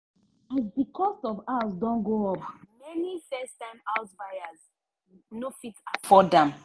as the cost of house don go up many first time house buyer no fit afford am.